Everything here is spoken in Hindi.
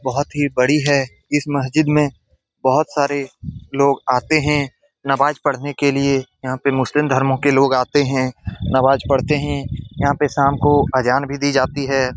बहुत ही बड़ी है इस मस्जिद में बहुत सारे लोग आते हैं नमाज़ पढ़ने के लिए यहाँ पे मुस्लिम धर्मों के लोग आते हैं नमाज़ पढ़ते हैं यहाँ पे शाम को अजान भी दी जाती है।